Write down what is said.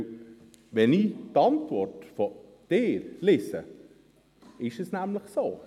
Wenn ich Ihre Antwort lese, ist dem nämlich so.